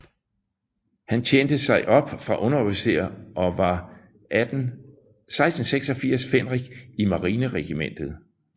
Han tjente sig op fra underofficer og var 1686 fændrik i Marineregimentet